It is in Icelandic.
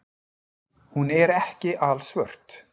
Hún er ekki alsvört.